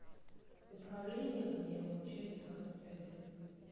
управление гневом часть двадцать один